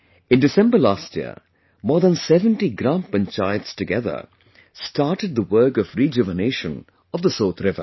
In December last year, more than 70 Gram Panchayats together started the work of rejuvenation of the Sot river